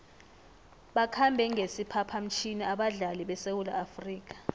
bakhambe ngesiphaphamtjhini abadlali besewula afrika